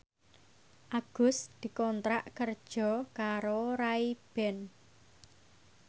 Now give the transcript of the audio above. Agus dikontrak kerja karo Ray Ban